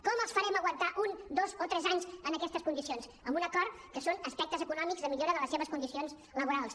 com els fa·rem aguantar un dos o tres anys en aquestes condicions amb un acord que són as·pectes econòmics de millora de les seves condicions laborals